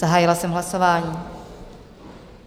Zahájila jsem hlasování.